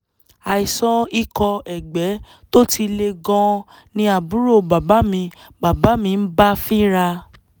àìsàn ikọ̀ ẹ̀gbẹ tó ti le gan-an ni àbúrò bàbá mi bàbá mi ń bá fínra